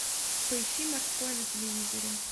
поищи морской на телевизоре